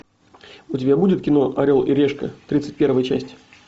у тебя будет кино орел и решка тридцать первая часть